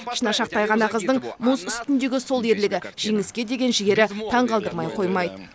шынашақтай ғана қыздың мұз үстіндегі сол ерлігі жеңіске деген жігері таңғалдырмай қоймайды